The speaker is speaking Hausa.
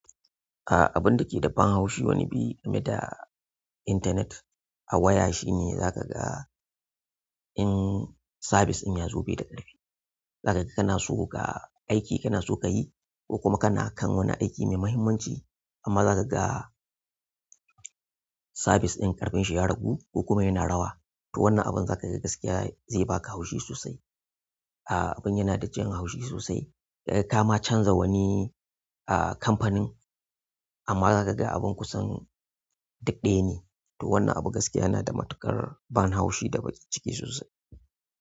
A'a abun da ke da ban haushi wani bi game da internet a waya shine zaka ga in sabis in ya zo bai da ƙarfi. Zaka ga kana so ka aiki kana so ka yi ko kuma kana kan wani aiki mai muhimmanci amma zaka ga sabis ɗin ƙarfin shi ya ragu ko kuma yana rawa. To wannan abun zaka ga gaskiya zai baka haushi sosai. A'a abun yana da jin haushi sosai. Kama canza wani a kampanin amma zaka ga abun kusan duk ɗaya ne. To wannan abu gaskiya yana da matuƙar ban haushi da ba ciki sosai.